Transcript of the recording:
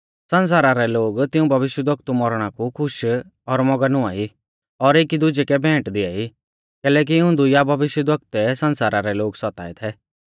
सण्सारा रै लोग तिऊं भविष्यवक्तु रै मौरणा कु खुश और मौगन हुआई और एकी दुजै कै भेंट दिआई कैलैकि इऊं दुइया भविष्यवक्तुऐ सण्सारा रै लोग सताऐ थै